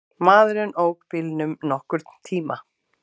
Maðurinn ók bílnum nokkurn tíma.